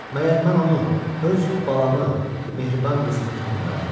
Məgər mən onu, öz balamı, mehriban qızımı tanımırammı?